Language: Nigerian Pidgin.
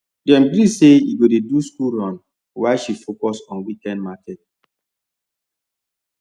dem gree say he go dey do school run while she focus on weekend market